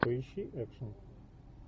поищи экшн